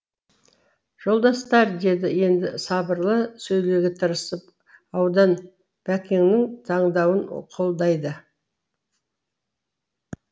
жолдастар деді енді сабырлы сөйлеуге тырысып аудан бәкеңнің таңдауын қолдайды